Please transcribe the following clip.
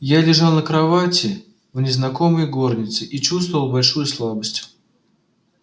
я лежал на кровати в незнакомой горнице и чувствовал большую слабость